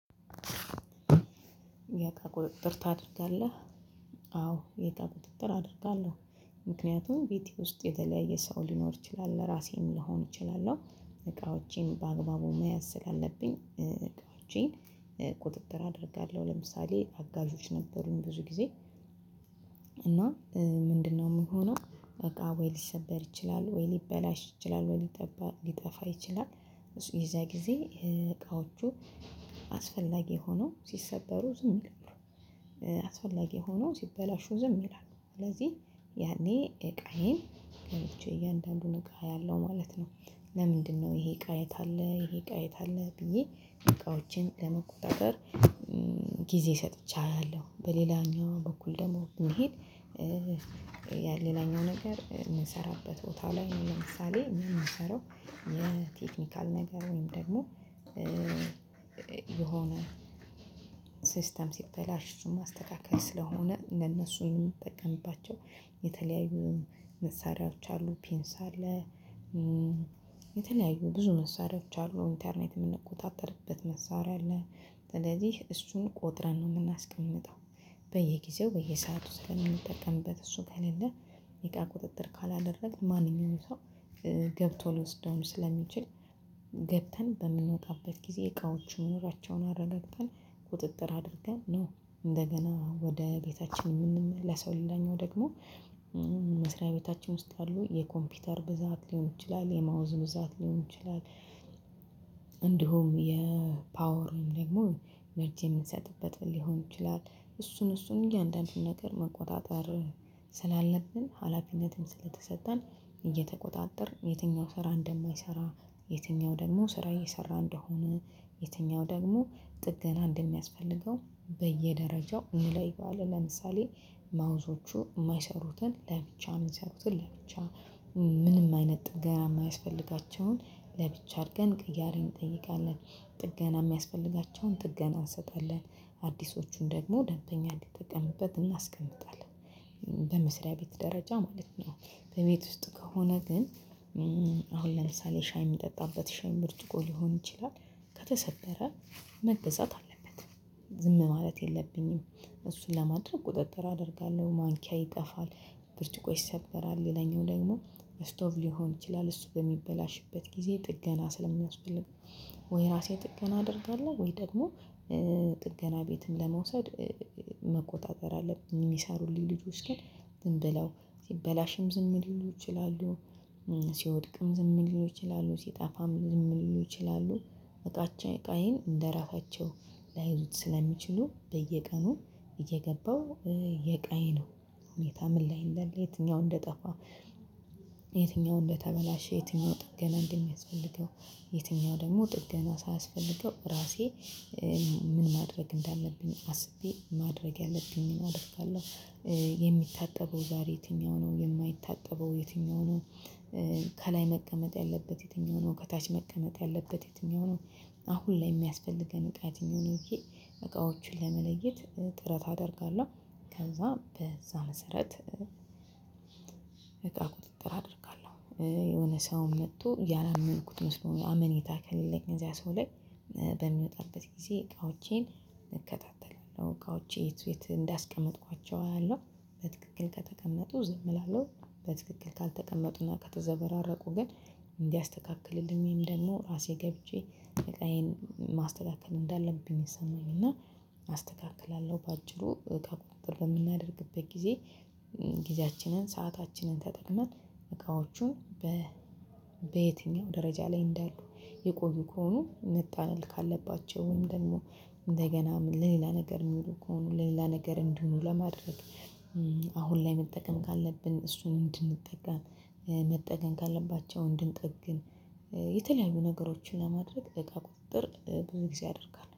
የእቃ ቁጥጥር የእቃ ድርጋለህ? አዎ የታቁጥጥር አድርጋለሁ። ምክንያቱም ቤቴ ውስጥ የተለያየ ሰው ሊኖር ይችላል ለራሴም ሊሆን ይችላል ነው። እቃዎቼን በአግባቡ መያዝ ስላለብኝ። ቁጥጥር አደርጋለሁ ለምሳሌ አጋዦች ነበሩኝ ብዙ ጊዜ። እና ምንድነው ምን ሆኖ እቃ ወይ ሊሰበር ይችላል ወይ ሊበላሽ ይችላል ወይ ሊጠፋ ይችላል። ይሄ የዛ ጊዜ እቃዎቹ አስፈላጊ ሆነው ሲሰበሩ ዝም ይላሉ። አስፈላጊ ሆኖ ሲበላሹ ዝም ይላሉ። ስለዚህ ያኔ እቃዬን ገብቼ እያንዳንዱን እቃ ያለው ማለት ነው። ለምንድነው ይሄ እቃ የት አለ ይሄ እቃ የት አለ ብዬ እቃዎችን ለመቆጣጠር። ጊዜ ሰጥቼ አያለውበሌላኛው በኩል ደግሞ የሚሄድ። ያ ሌላኛው ነገር የምንሰራበት ቦታ ላይ ለምሳሌ የሚሰራው የቴክኒካል ነገር ወይም ደግሞ የሆነ ሲስተም ሲበላሽ እነሱን ማስተካከል ስለሆነ ለነሱ የምትጠቀምባቸው የተለያዩ መሳሪያዎች አሉ ፔንስ አለ። የተለያዩ ብዙ መሳሪያዎች አሉ ኢንተርኔት የምንቆጣጠርበት መሰዋሪያ አለ። ስለዚህ እሱን ቆጥረን ነው የምናስቀምጠው። በየጊዜው በየሰአቱ ስለምንጠቀምበት እሱ ከሌለ ይቃ ቁጥጥር ካላደረግን ማንኛውንም ሰው ገብቶ ልወስደው ስለሚችል። ገብተን በምንወጣበት ጊዜ እቃዎችን መኖራቸውን አረጋግጠን ቁጥጥር አድርገን ነው። እንደገና ወደ ቤታችን የምንመለስ ሊላኛው ደግሞ መስሪያ ቤታችን ውስጥ አሉ የኮምፒውተር ብዛት ሊሆን ይችላል የማውዝ ብዛት ሊሆን ይችላል። እንዲሁም የፓወርን ደግሞ መርጄ የምንሰጥበት ሊሆን ይችላል እሱን እሱን እያንዳንዱን ነገር መቆጣጠር ስላለብን ሀላፊነትን ስለተሰጠን እየተቆጣጠር የትኛው ስራ እንደማይሰራ የትኛው ደግሞ ስራ እየሰራ እንደሆነ የትኛው ደግሞ ጥገና እንደሚያስፈልገው በየደረጃው እንለየዋለን። ለምሳሌ ማውዞቹ የማይሰሩትን ለብቻ የሚሰሩትን ለብቻ ምንም አይነት ጥገና የማያስፈልጋቸውን ለብቻ አድርገን እያለን እንጠይቃለን። ጥገና የሚያስፈልጋቸውን ጥገና እንሰጣለን። አዲሶቹን ደግሞ ደንተኛ እንዲጠቀምበት እናስቀምጣለን በመስሪያ ቤት ደረጃ ማለት ነው። በቤት ውስጥ ከሆነ ግን። አሁን ለምሳሌ ሻይ የሚጠጣበት ሻይ ብርጭቆ ሊሆን ይችላል። ከተሰበረ መገዛት አለበት። ዝም ማለት የለብንም እሱን ለማድረግ ቁጥጥር አደርጋለሁ። ማንኪያ ይጠፋል ብርጥቆ ይሰበራል የለኝም ደግሞ ስቶቭ ሊሆን ይችላል እሱ በሚበላሽበት ጊዜ ጥገና ስለሚያስፈልግ። ወይ ራሴ ጥገና አደርጋለሁ ወይ ደግሞ ጥገና ቤትን ለመውሰድ መቆጣጠር አለብኝ የሚሰሩልኝ ልጆች ግን ዝም ብለው ሲበላሽም ዝም ሊሉ ይችላሉ። ሲወድቅም ዝም ሊሉ ይችላሉ ሲጣፋም ዝም ሊሉ ይችላሉ። እቃችን እቃዬን እንደራሳቸው ላይዙት ስለሚችሉ በየቀኑ እየገባው የዕቃዬን ነው ሁኔታ ምን ላይ እንዳለ የትኛው ነው እንደጠፋው። የትኛው እንደተበላሸ የትኛው ጥገና እንደሚያስፈልገው። የትኛው ደግሞ ጥገና ሳያስፈልገው ራሴ ምን ማድረግ እንዳለብኝ አስቤ ማድረግ ያለብኝን አደርጋለሁ። የሚታጠበው ዛሬ የትኛው ነው የማይታጠበው የትኛው ነው። ከላይ መቀመጥ ያለበት የትኛው ነው ከታች መቀመጥ ያለበት የትኛው ነው። አሁን ላይ የሚያስፈልገን እቃ የትኛው ነው ይሄ እቃዎቹን ለመለየት ጥረት አደርጋለሁ። ከዛ በዛ መሰረት እቃ ቁጥጥር አደርጋለሁ። የሆነ ሰውን መጥቶ ያላመልንኩት መስሎ ነው አመኔታ ከሌለኝ እዚያ ሰው ላይ። በሚወጣበት ጊዜ እቃዎቼን እከታተላለሁ እቃዎቼ የት እንዳስቀመጥኳቸው አያለው። በትክክል ከተቀመጡ ዝም እላለሁ። በትክክል ካልተቀመጡና ከተዘበራረቁ ግን እንዲያስተካክልልኝ ደግሞ ራሴ ገብቼ እቃዬን ማስተካከል እንዳለብኝ ይሰማኛል እና አስተካክላለሁ። በአጭሩ እቃ በምናደርግበት ጊዜ። ጊዜያችንን ሰአታችንን ተጠቅመን እቃዎቹን በ በየትኛው ደረጃ ላይ እንዳሉ የቆዩ ከሆኑ መጣል ካለባቸው ወይም ደግሞ እንደገና ለሌላ ነገር የሚውሉ ከሆኑ ለሌላ ነገር እንዲሆኑ ለማድረግ። አሁን ላይ መጠገን ካለብን እሱን እንድንጠግን መጠቀም ካለባቸው እንድንጠግን። የተለያዩ ነገሮችን ለማድረግ እቃ ቁጥጥር ብዙ ጊዜ አደርጋለሁ